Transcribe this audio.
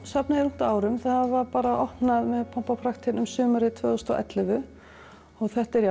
safnið er ungt að árum það var opnað með pomp og prakt sumarið tvö þúsund og ellefu þetta er